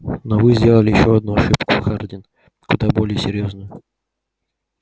но вы сделали ещё одну ошибку хардин куда более серьёзную